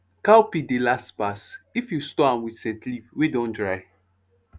cowpea dey last pass if you store am with scent leaf wey dun dry